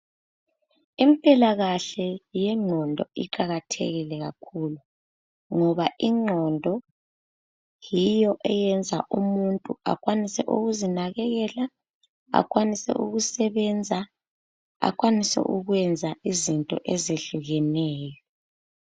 Impilakahle yengqondo iqakathekile kakhulu ngoba ingqondo yiyo eyenza umuntu akwanise ukuzinanekela, akwanise ukusebenza, akwanise ukwenza izinto ezehlukeneyo.